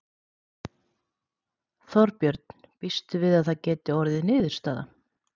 Þorbjörn: Býstu við að það geti orðið niðurstaðan?